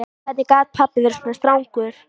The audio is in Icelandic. Hvernig gat pabbi verið svona strangur?